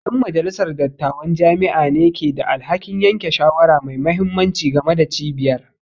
Yan majalisar dattawan jami'a ne ke da alhakin yanke shawara mai mahimmanci game da cibiyar